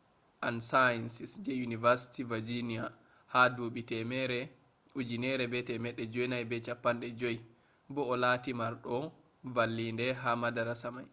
& sciences je university virginia ha dubi 1950 bo o latti mardo vallinde ha madarasa mai